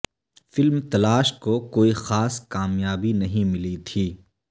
film تلاش کو کوئی خاص کامیابی نہیں ملی تھی